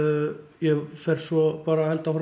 ég fer svo bara held áfram